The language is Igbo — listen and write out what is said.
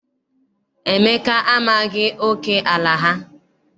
Emeka amaghị oke ala ha.